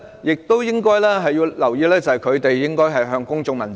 而且，應留意的是，公務員應向公眾問責。